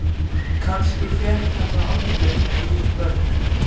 Kannski fékk hann það aldrei með eigin börn.